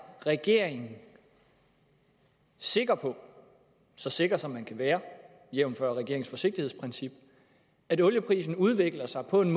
regeringen sikker på så sikker som man kan være jævnfør regeringens forsigtighedsprincip at olieprisen udvikler sig på den